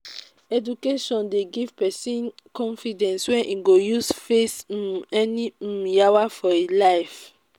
education dey give pesin confidence wey e go use face um any um yawa for e life.